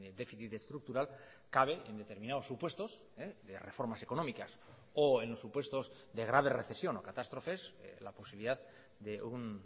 déficit estructural cabe en determinados supuestos de reformas económicas o en supuestos de grave recesión o catástrofes la posibilidad de un